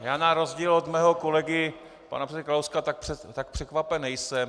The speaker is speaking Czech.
Já na rozdíl od svého kolegy pana předsedy Kalouska tak překvapen nejsem.